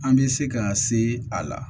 An bɛ se ka se a la